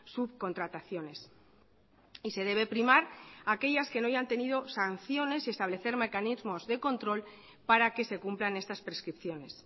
subcontrataciones y se debe primar aquellas que no hayan tenido sanciones y establecer mecanismos de control para que se cumplan estas prescripciones